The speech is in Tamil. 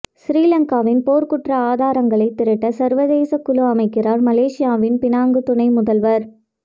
சிறிலங்காவின் போர்க்குற்ற ஆதாரங்களை திரட்ட சர்வதேச குழு அமைக்கிறார் மலேசியாவின் பினாங்கு துணை முதல்வர்